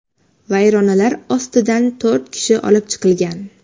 Vayronalar ostida to‘rt kishi olib chiqilgan.